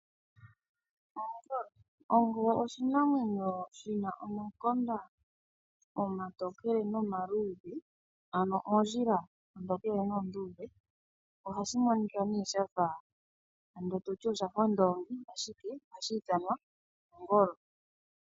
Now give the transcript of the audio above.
Ongolo Ongolo oshinamwemyo shi na omakonda omatokele nomaluudhe ano oondjila oontokele noondudhe. Ohashi monika nee shafa ando toti oshafa ondoongi, ashike ohashi ithanwa ongolo.